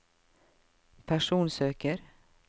personsøker